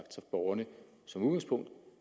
borgerne som udgangspunkt